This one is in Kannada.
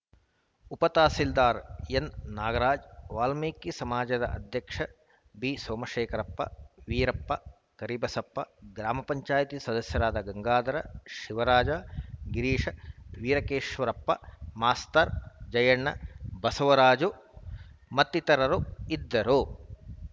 ಉಪತಹಸೀಲ್ದಾರ್‌ ಎನ್‌ನಾಗರಾಜ್‌ ವಾಲ್ಮೀಕಿ ಸಮಾಜದ ಅಧ್ಯಕ್ಷ ಬಿಸೋಮಶೇಖರಪ್ಪ ವೀರಪ್ಪ ಕರಿಬಸಪ್ಪ ಗ್ರಾಮ ಚಾಯತಿ ಸದಸ್ಯರಾದ ಗಂಗಾಧರ್‌ ಶಿವರಾಜ್‌ ಗಿರೀಶ್‌ ವೀರಕೇಶ್ವರಪ್ಪ ಮಾಸ್ತರ್‌ ಜಯಣ್ಣ ಬಸವರಾಜ್‌ ಮತ್ತಿತರರು ಇದ್ದರು